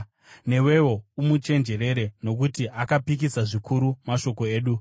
Newewo umuchenjerere, nokuti akapikisa zvikuru mashoko edu.